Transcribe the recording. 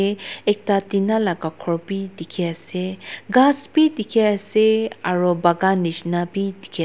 aa ekta tina laka ghor bi dikhiase ghas bi dikhiase aro pakan nishina bi dikhias--